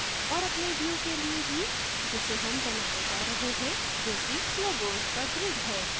और अगले view के लिए भी जिसे हम बनाने जा रहे हैं जो कि logos का grid है